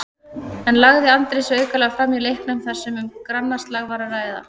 En lagði Andri sig aukalega fram í leiknum þar sem um grannaslag var að ræða?